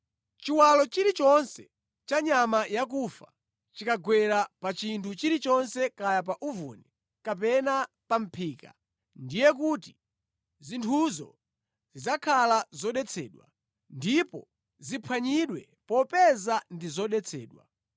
Chiwalo chilichonse cha nyama yakufa chikagwera pa chinthu chilichonse kaya pa uvuni, kapena pa mʼphika, ndiye kuti zinthuzo zidzakhala zodetsedwa, ndipo ziphwanyidwe popeza ndi zodetsedwa.